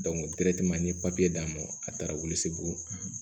n ye d'a ma a taara wili bugun